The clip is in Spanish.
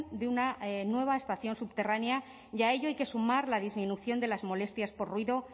de una nueva estación subterránea y a ello hay que sumar la disminución de las molestias por ruido